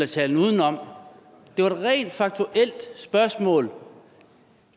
talen udenom det var rent et faktuelt spørgsmål